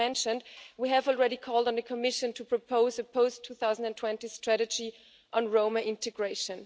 As mentioned, we have already called on the Commission to propose a post-2020 strategy on Roma integration.